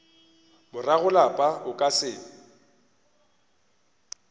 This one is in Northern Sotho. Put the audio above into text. morago lapa o ka se